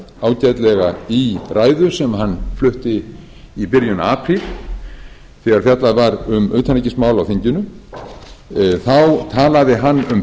ágætlega í ræðu sem hann flutti í byrjun apríl þegar fjallað var um utanríkismál á þinginu þá talaði hann um breytingar